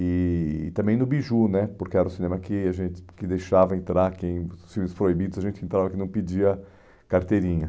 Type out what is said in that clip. E e também no Biju né, porque era o cinema que a gente que deixava entrar quem, os filmes proibidos, a gente entrava que não pedia carteirinha.